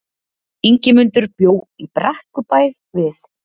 Ingimundur bjó í Brekkubæ við